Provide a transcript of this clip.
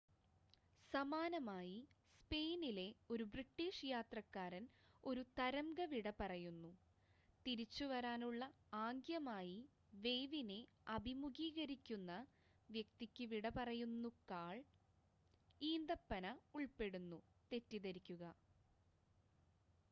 സമാനമായി സ്‌പെയിനിലെ ഒരു ബ്രിട്ടീഷ് യാത്രക്കാരൻ ഒരു തരംഗ വിടപറയുന്നു തിരിച്ചുവരാനുള്ള ആംഗ്യമായി വേവിനെ അഭിമുഖീകരിക്കുന്ന വ്യക്തിക്ക് വിടപറയുന്നുക്കാൾ ഈന്തപ്പന ഉൾപ്പെടുന്നു തെറ്റിദ്ധരിക്കുക